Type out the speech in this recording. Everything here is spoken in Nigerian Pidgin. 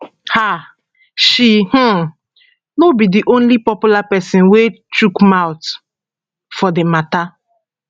um she um no be di only popular pesin wey chook mouth for di mata